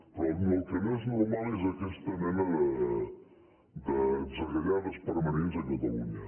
però el que no és normal és aquesta mena d’atzagaiades permanents a catalunya